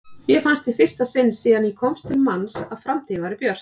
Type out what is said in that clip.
Mér fannst í fyrsta sinn síðan ég komst til manns að framtíðin væri björt.